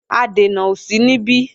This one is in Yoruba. Adènà ò sí níbí